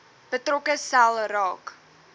betrokke sel raak